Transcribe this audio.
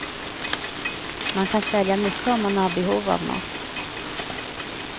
Man kan svälja mycket om man har behov av något.